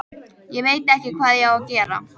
Ég veit ekki hvað ég á að gera